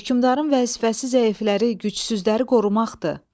Hökmdarın vəzifəsi zəifləri, gücsüzləri qorumaqdır.